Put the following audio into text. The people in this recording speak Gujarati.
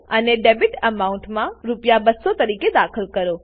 અને ડેબિટ એમાઉન્ટ ડેબીટ એમાઉન્ટ રૂ200 તરીકે દાખલ કરો